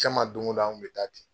Jɛn ma don o don an kun bɛ taa di.